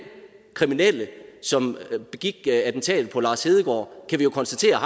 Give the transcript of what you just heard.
kriminelle som begik attentatet på lars hedegaard kan vi jo konstatere at